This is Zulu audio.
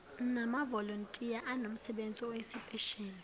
namavolontiya anomsebenzi oyisipesheli